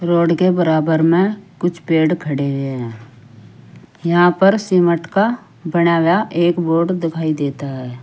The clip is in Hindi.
रोड के बराबर में कुछ पेड़ खड़े हैं यहां पर सीमट का बनाया एक बोर्ड दिखाई देता है।